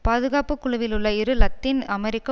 பாதுகாப்பு குழுவிலுள்ள இரு இலத்தீன் அமெரிக்க